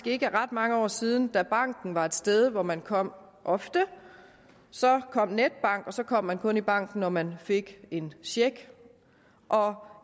ikke ret mange år siden at banken var et sted hvor man kom ofte så kom netbank og så kom man kun i banken når man fik en check og